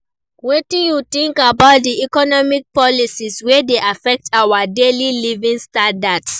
Wetin you think about di economic policies wey dey affect our daily living standards?